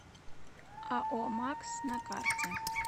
ао макс на карте